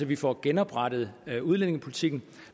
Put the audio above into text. vi får genoprettet udlændingepolitikken